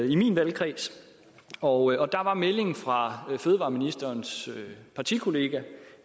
i min valgkreds og der var meldingen fra fødevareministerens partikollega